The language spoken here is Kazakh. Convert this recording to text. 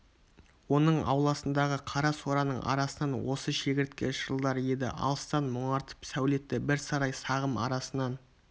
оның ауласындағы қара сораның арасынан осы шегіртке шырылдар еді алыстан мұнартып сәулетті бір сарай сағым арасынан